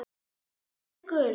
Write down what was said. Passið ykkur.